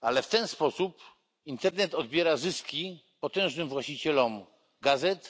ale w ten sposób internet odbiera zyski potężnym właścicielom gazet